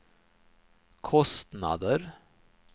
kostnader